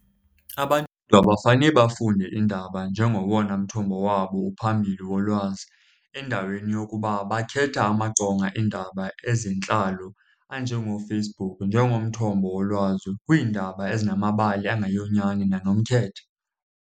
Abantu abafane bafunde iindaba njengowona mthombo wabo uphambili wolwazi. Endaweni yokuba bakhetha amaqonga eendaba ezentlalo anjengooFacebook njengomthombo wolwazi kwiindaba ezinamabali angeyonyani nanomkhethe.